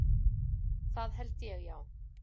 Það held ég, já.